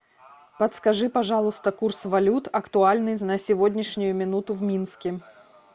подскажи пожалуйста курс валют актуальный на сегодняшнюю минуту в минске